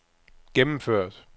gennemført